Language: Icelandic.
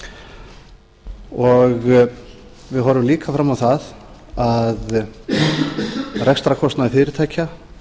í langan tíma og við horfum líka fram á það að rekstrarkostnaður fyrirtækja